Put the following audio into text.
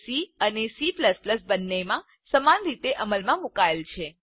તે સી અને C બંનેમાં સમાન રીતે અમલમાં મુકાયેલ છે